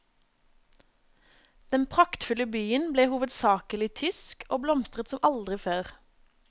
Den praktfulle byen ble hovedsakelig tysk, og blomstret som aldri før.